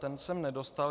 Ten jsem nedostal.